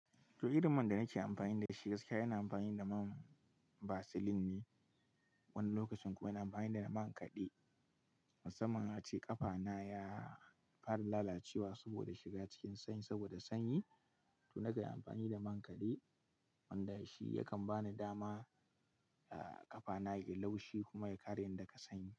To irin man da nake amfani da shi gaskiya yana amfani da man vaseline ne. Wani lokacin kuma ina amfani da man kaɗe. Musamman ace ƙafana ya fara lalacewa saboda shiga cikin sanyi saboda sanyi. To nakanyi amfani da man kaɗe wanda shi yakan bani dama, ah ƙafana ya yi laushi kuma ya karye daga sanyi.